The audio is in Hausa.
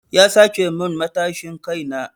Ya sace min matashin kai na.